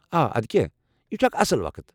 آ ادكیاہ ، یہ چھُ اکھ اصٕل وقت۔